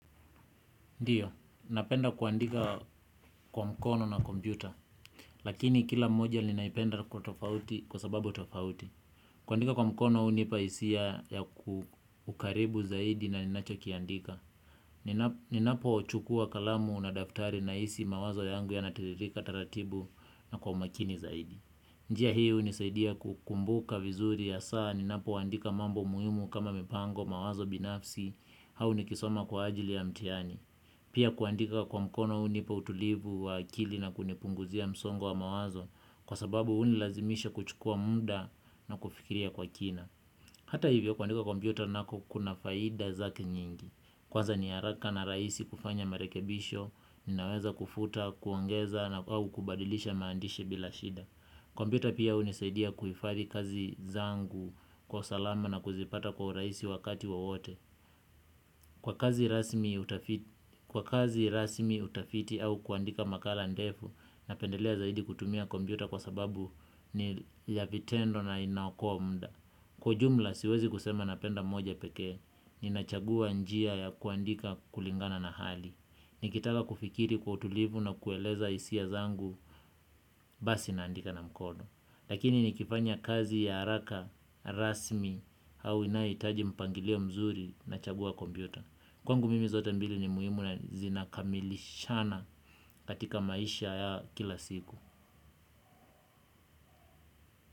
Ndiyo, napenda kuandika kwa mkono na kompyuta. Lakini kila moja ninaipenda kwa tofauti kwa sababu tofauti. Kuandika kwa mkono hunipa hisia ya ukaribu zaidi na ninachokiandika. Ninapochukua kalamu na daftari nahisi mawazo yangu yanatiririka taratibu na kwa makini zaidi. Njia hii hunisaidia kukumbuka vizuri hasaa. Ninapoandika mambo muhimu kama mipango mawazo binafsi au nikisoma kwa ajili ya mtihani. Pia kuandika kwa mkono hunipa utulivu wa akili na kunipunguzia msongo wa mawazo kwa sababu hunilazimisha kuchukua muda na kufikiria kwa kina. Hata hivyo kuandika kwa kompyuta nako kuna faida zake nyingi. Kwanza ni haraka na raisi kufanya marekebisho, ninaweza kufuta, kuongeza na au kubadilisha maandishi bila shida. Kompyuta pia hunisaidia kuhifadhi kazi zangu kwa salama na kuzipata kwa urahisi wakati wowote. Kwa kazi rasmi utafiti au kuandika makala ndefu, napendelea zaidi kutumia kompyuta kwa sababu ni ya vitendo na inaokoa muda. Kwa ujumla siwezi kusema napenda moja pekee, ninachagua njia ya kuandika kulingana na hali. Nikitaka kufikiri kwa utulivu na kueleza hisia zangu, basi naandika na mkono. Lakini nikifanya kazi ya haraka rasmi au inayohitaji mpangilio mzuri nachagua kompyuta. Kwangu mimi zote mbili ni muhimu na zinakamilishana katika maisha ya kila siku.